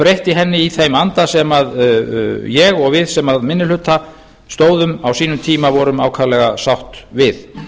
breytti henni í þeim anda sem ég og við sem að minni hluta stóðum á sínum tíma voru ákaflega sátt við